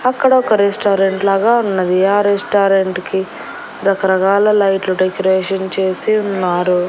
అక్కడొక రెస్టారెంట్ లాగా ఉన్నది ఆ రెస్టారెంట్ కి రకరకాల లైట్లు డెకరేషన్ చేసి ఉన్నారు.